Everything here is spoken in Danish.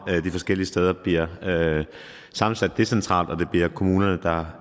de forskellige steder bliver sammensat decentralt og at det bliver kommunerne der